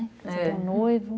noivo.